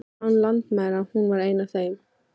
Læknar án landamæra, hún var ein af þeim.